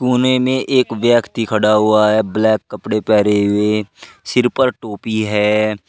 कोने में एक व्यक्ति खड़ा हुआ है ब्लैक कपडे पेहरे हुए सिर पर टोपी है।